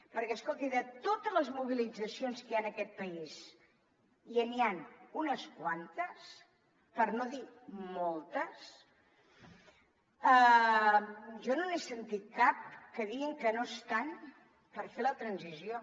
perquè escolti de totes les mobilitzacions que hi han en aquest país i n’hi han unes quantes per no dir moltes jo no n’he sentit cap que diguin que no estan per fer la transició